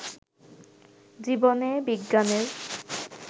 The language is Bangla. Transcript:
জীবনে বিজ্ঞানের